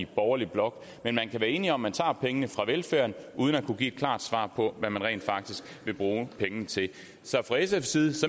borgerlige blok men man kan være enig om at man tager pengene fra velfærden uden at kunne give et klart svar på hvad man rent faktisk vil bruge pengene til så fra sfs side